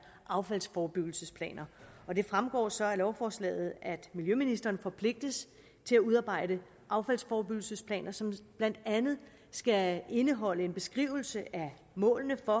affaldsforebyggelsesplaner det fremgår så af lovforslaget at miljøministeren forpligtes til at udarbejde affaldsforebyggelsesplaner som blandt andet skal indeholde en beskrivelse af målene for